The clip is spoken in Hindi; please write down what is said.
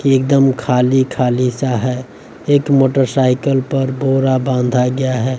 एकदम खाली खाली सा है एक मोटरसाइकल पर बोरा बांधा गया है।